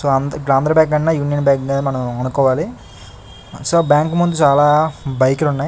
so Andhra bank కన్నా union bank నే అనుకోవాలి సో బ్యాంకు ముందు చాల బైక్ లు ఉన్నాయ్--